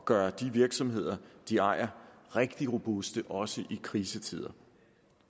gøre de virksomheder de ejer rigtig robuste også i krisetider